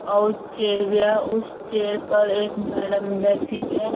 और चेयर बिया । उस चेयर पर एक मैडम बैठी हुई है।